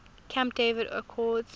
camp david accords